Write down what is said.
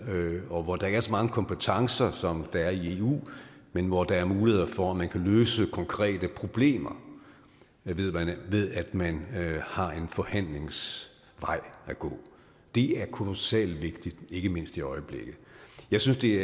og hvor der ikke er så mange kompetencer som der er i eu men hvor der er muligheder for at man kan løse konkrete problemer ved at man har en forhandlingens vej at gå det er kolossalt vigtigt ikke mindst i øjeblikket jeg synes det